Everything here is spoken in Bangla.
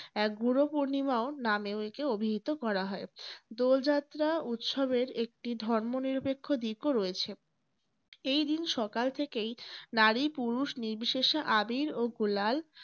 এক ঘোরো পূর্ণিমাও নামেও একে অভিহিত করা হয়। দোল যাত্রা উৎসবের একটি ধর্ম নিরপেক্ষ দিকও রয়েছে। এই দিন সকাল থেকেই নারী পুরুষ নির্বিশেষে আবীর ও গুলাল